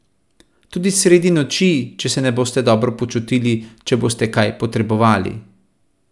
Tudi sredi noči, če se ne boste dobro počutili, če boste kaj potrebovali!